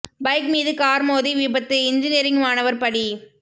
bike மீது car மோதி விபத்து இன்ஜினியரிங் மாணவர் பலி